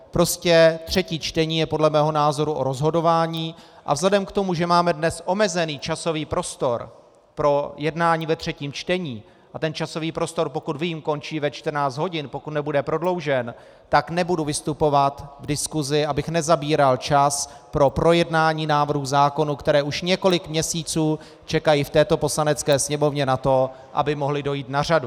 Prostě třetí čtení je podle mého názoru o rozhodování a vzhledem k tomu, že máme dnes omezený časový prostor pro jednání ve třetím čtení a ten časový prostor, pokud vím, končí ve 14 hodin, pokud nebude prodloužen, tak nebudu vystupovat v diskusi, abych nezabíral čas pro projednání návrhů zákonů, které už několik měsíců čekají v této Poslanecké sněmovně na to, aby mohly dojít na řadu.